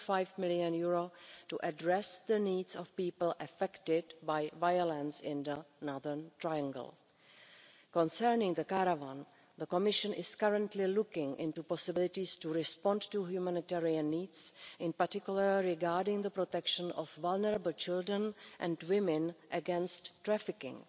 2.5 million to address the needs of people affected by violence in the Northern Triangle. Concerning the caravan, the Commission is currently looking into possibilities to respond to humanitarian needs, in particular regarding the protection of vulnerable children and women against trafficking.